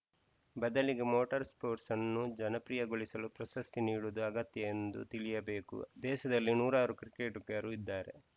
ಬದಲಿಗೆ motor spirits sports ಅನ್ನು ಜನಪ್ರಿಯಗೊಳಿಸಲು ಪ್ರಶಸ್ತಿ ನೀಡುವುದು ಅಗತ್ಯ ಎಂದು ತಿಳಿಯಬೇಕು ದೇಶದಲ್ಲಿ ನೂರಾರು ಕ್ರಿಕೆಟುಗರು ಇದ್ದಾರೆ